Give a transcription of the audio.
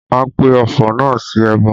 A pe ọfọ̀ náà sí ẹbọ